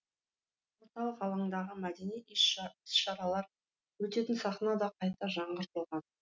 орталық алаңдағы мәдени іс шаралар өтетін сахна да қайта жаңғыртылған